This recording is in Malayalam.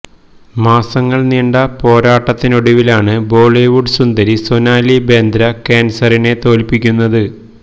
മാസങ്ങള് നീണ്ട പോരാട്ടത്തിനൊടുവിലാണ് ബോളിവുഡ് സുന്ദരി സൊനാലി ബേന്ദ്ര കാന്സറിനെ തോല്പ്പിക്കുന്നത്